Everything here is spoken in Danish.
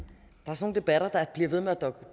og så er